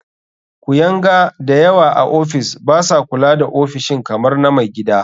Kuyanga da yawa a ofis ba sa kula da ofishin kamar na mai gida.